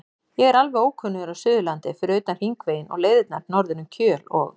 Ég er alveg ókunnugur á Suðurlandi fyrir utan Hringveginn og leiðirnar norður um Kjöl og